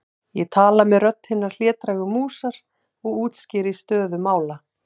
Ég tala með rödd hinnar hlédrægu músar og útskýri stöðu mála.